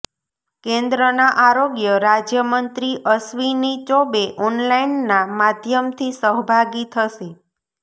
કેન્દ્રના આરોગ્ય રાજ્ય મંત્રી અશ્વિની ચોબે ઓનલાઈનના માધ્યમથી સહભાગી થશે